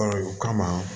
o kama